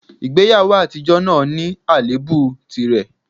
Ìgbéyàwó àtijọ́ náà ní àléébù tìrẹ